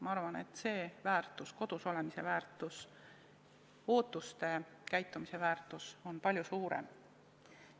Ma arvan, et see väärtus, kodus olemise väärtus, ootustel põhineva käitumise väärtus on palju suurem.